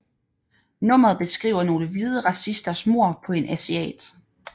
Nummeret beskriver nogle hvide racisters mord på en asiat